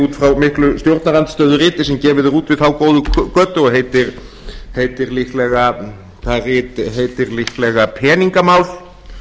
út frá miklu stjórnarandstöðuriti sem gefið er út við þá góðu götu og heitir líklega það rit heitir líklega peningamál